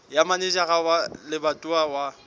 ya manejara wa lebatowa wa